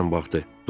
O diqqətlə baxdı.